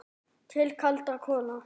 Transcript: Til kaldra kola.